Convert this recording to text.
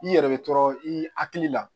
I yɛrɛ bɛ tɔɔrɔ i hakili la